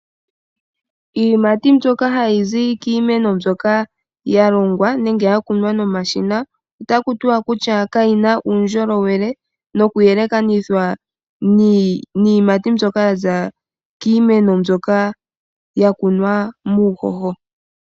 Iiyimati mbyoka hayi zi kiimeno mbyoka ya longwa nenge ya kunwa nomashina . Ota ku tiwa kayina uundjolowele noku yelekanitha niiyimati mbyoka ya kunwa muuhoho.